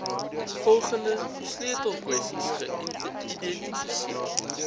volgende sleutelkwessies geïdentifiseer